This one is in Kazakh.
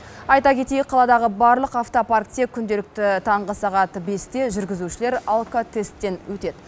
айта кетейік қаладағы барлық автопаркте күнделікті таңғы сағат бесте жүргізушілер алкотесттен өтеді